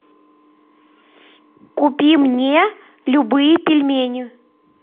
купи мне любые пельмени